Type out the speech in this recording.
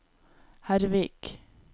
Hervik